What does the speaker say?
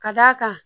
Ka d'a kan